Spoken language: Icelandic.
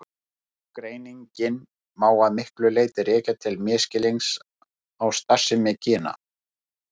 Ágreininginn má að miklu leyti rekja til misskilnings á starfsemi gena.